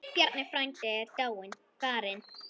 Bjarni frændi er dáinn, farinn.